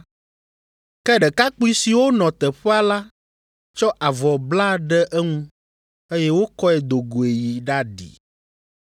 Ke ɖekakpui siwo nɔ teƒea la tsɔ avɔ bla ɖe eŋu, eye wokɔe do goe yi ɖaɖi.